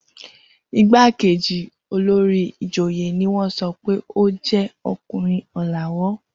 Igbákejì olórí ìjòyè ni wọ́n sọ pé ó jẹ́ ọkùnrin ọ̀làwọ́.